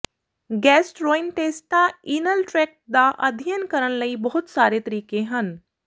gastrointestinal tract ਦਾ ਅਧਿਐਨ ਕਰਨ ਲਈ ਬਹੁਤ ਸਾਰੇ ਤਰੀਕੇ ਹਨ